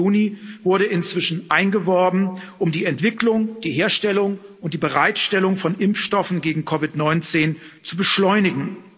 30. Juni wurde inzwischen eingeworben, um die Entwicklung, die Herstellung und die Bereitstellung von Impfstoffen gegen COVID 19 zu beschleunigen.